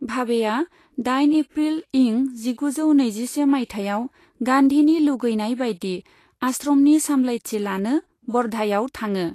भाभेआ दाइन एफ्रिल इं जिगुजौ नैजिसे मायथाइयाव गान्धीनि लुगैनाय बायदि आश्रमनि सामलायथि लानो वर्धायाव थाङो।